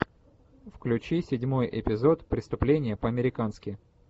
включи седьмой эпизод преступление по американски